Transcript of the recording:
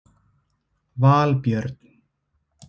Valbjörn